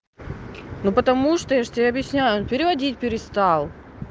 ну потому что я же тебе объясняю он переводить перестал